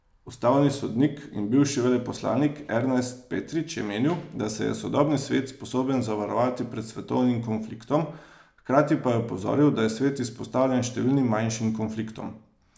Ustavni sodnik in bivši veleposlanik Ernest Petrič je menil, da se je sodobni svet sposoben zavarovati pred svetovnim konfliktom, hkrati pa je opozoril, da je svet izpostavljen številnim manjšim konfliktom.